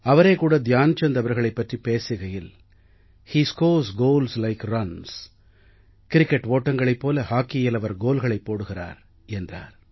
அவரே கூட த்யான் சந்த் அவர்களைப் பற்றிப் பேசுகையில் he scores goals like runs cricket ஓட்டங்களைப் போல ஹாக்கியில் அவர் கோல்களைப் போடுகிறார் என்றார்